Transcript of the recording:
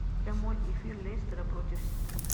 прямой эфир лестера против сити